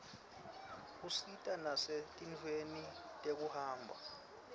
usita nasetintfweni tekuhamba